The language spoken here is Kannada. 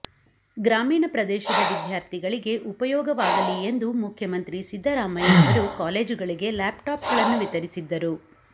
ಗ್ರಾಮೀಣ ಪ್ರದೇಶದ ವಿದ್ಯಾರ್ಥಿಗಳಿಗೆ ಉಪಯೋಗವಾಗಲಿ ಎಂದು ಮುಖ್ಯಮಂತ್ರಿ ಸಿದ್ದರಾಮಯ್ಯ ಅವರು ಕಾಲೇಜುಗಳಿಗೆ ಲ್ಯಾಪ್ಟಾಪ್ಗಳನ್ನು ವಿತರಿಸಿದ್ದರು